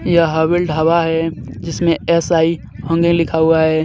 यह हवेल ढाबा है जिसमें एस_आई लिखा हुआ है.